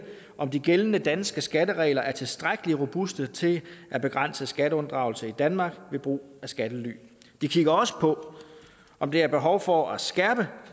om de gældende danske skatteregler er tilstrækkelig robuste til at begrænse skatteunddragelse i danmark ved brug af skattely de kigger også på om der er behov for at skærpe